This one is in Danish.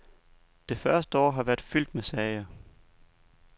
Det første år har været fyldt med sager.